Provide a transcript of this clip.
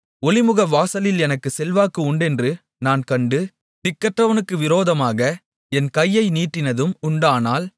ஒலிமுகவாசலில் எனக்குச் செல்வாக்கு உண்டென்று நான் கண்டு திக்கற்றவனுக்கு விரோதமாக என் கையை நீட்டினதும் உண்டானால்